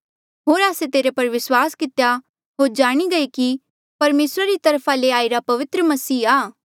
होर आस्से तेरे पर विस्वास कितेया होर जाणी गये कि परमेसरा रा तरफा ले आईरा पवित्र मसीहा आ